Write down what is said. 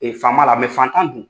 faama la fantan dun.